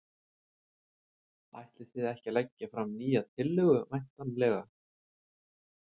Ætlið þið ekki að leggja fram nýja tillögu væntanlega?